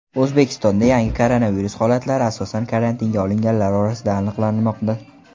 O‘zbekistonda yangi koronavirus holatlari asosan karantinga olinganlar orasida aniqlanmoqda.